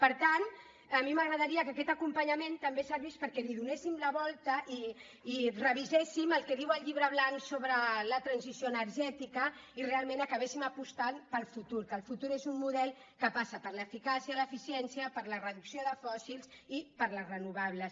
per tant a mi m’agradaria que aquest acompanyament també servís perquè li donéssim la volta i reviséssim el que diu el llibre blanc sobre la transició energètica i realment acabéssim apostant pel futur que el futur és un model que passa per l’eficàcia l’eficiència per la reducció de fòssils i per les renovables